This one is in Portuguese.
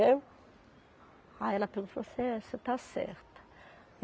Aí ela pegou e falou assim, é você está certa.